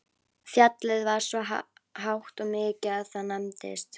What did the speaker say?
Fjallið var svo hátt og mikið að það nefndist